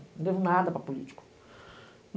Não devo nada para político.